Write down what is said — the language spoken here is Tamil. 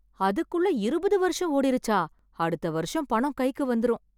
அதுக்குள்ள இருபது வருஷம் ஓடிருச்சா அடுத்த வருஷம் பணம் கைக்கு வந்திரும்